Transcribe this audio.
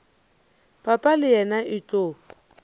papa le yena e tlo